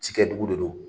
Cikɛdugu de don